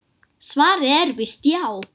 Svarið er víst já.